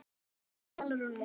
Elsku Sólrún mín.